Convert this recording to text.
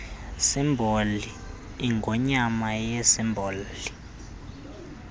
simboli ingonyama yisimboli